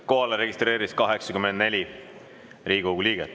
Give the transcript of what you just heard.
Kohalolijaks registreerus 84 Riigikogu liiget.